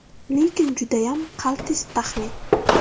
Lekin judayam qaltis taxmin.